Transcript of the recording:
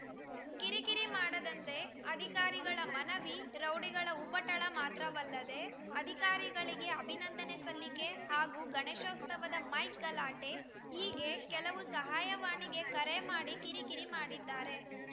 ಕಿರಿಕಿರಿ ಮಾಡದಂತೆ ಅಧಿಕಾರಿಗಳ ಮನವಿ ರೌಡಿಗಳ ಉಪಟಳ ಮಾತ್ರವಲ್ಲದೆ ಅಧಿಕಾರಿಗಳಿಗೆ ಅಭಿನಂದನೆ ಸಲ್ಲಿಕೆ ಹಾಗೂ ಗಣೇಶೋತ್ಸವದ ಮೈಕ್‌ ಗಲಾಟೆ ಹೀಗೆ ಕೆಲವು ಸಹಾಯವಾಣಿಗೆ ಕರೆ ಮಾಡಿ ಕಿರಿಕಿರಿ ಮಾಡಿದ್ದಾರೆ